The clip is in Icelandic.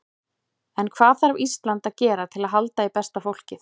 En hvað þarf Ísland að gera til að halda í besta fólkið?